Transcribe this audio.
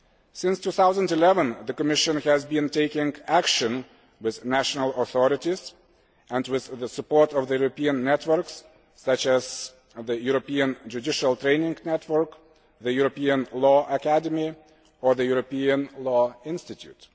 Since 2011 the Commission has been taking action with national authorities and with the support of the European networks such as the European Judicial Training Network, the European Law Academy and the European Law Institute.